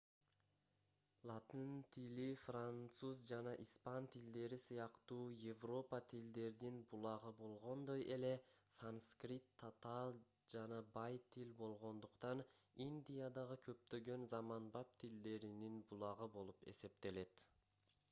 латын тили француз жана испан тилдери сыяктуу европа тилдердин булагы болгондой эле санскрит татаал жана бай тил болгондуктан индиядагы көптөгөн заманбап тилдеринин булагы болуп эсептелет